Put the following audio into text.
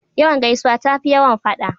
Yawan gaisuwa tafi yawan fada.